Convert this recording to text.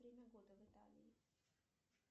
время года в италии